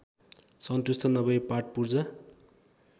सन्तुष्ट नभई पार्टपुर्जा